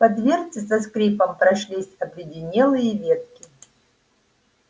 по дверце со скрипом прошлись обледенелые ветки